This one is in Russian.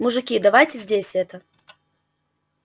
мужики давайте здесь это